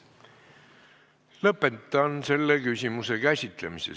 Lõpetan selle küsimuse käsitlemise.